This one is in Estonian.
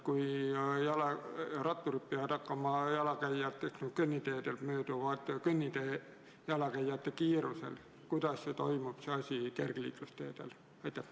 Kui ratturid peavad hakkama jalakäijatest kõnniteedel mööduma jalakäija kiirusel, siis kuidas toimub see asi kergliiklusteedel?